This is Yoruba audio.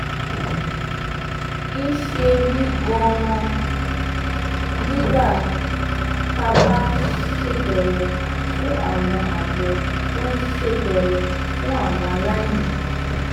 ń ṣe mí gan-an nígbà tá a bá ń ṣètọrẹ fún àwọn àjọ tó ń ṣètọrẹ fún àwọn aláìní